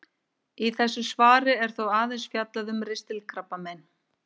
Í þessu svari er þó aðeins fjallað um ristilkrabbamein.